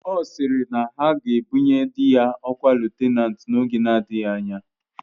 Ọ sịrị na aga ebunye dị ya ọkwa lutenanti n'oge na-adịghị anya